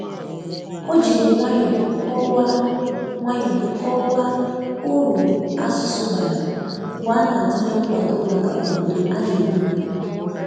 o jiri nwayo kowaa nwayo kowaa ụrụ asụsụ bara mgbe ana-atule nkwado maka obodo ana emegbụ